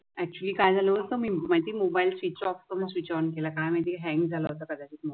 एकचुल्ली काय झालं मी मोबाईल स्वीच ऑफ करून स्विच ऑन केला काय माहिती हयांग झाला होता